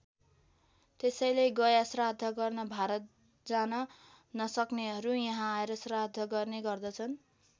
त्यसैले गयाश्राद्ध गर्न भारत जान नसक्नेहरू यहाँ आएर श्राद्ध गर्ने गर्दछन्।